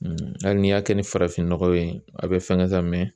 Hali n'i y'a kɛ ni farafinnɔgɔ ye a bi fɛngɛ ka mɛn